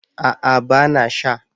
A'a ba na sha